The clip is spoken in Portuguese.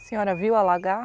A senhora viu alagar?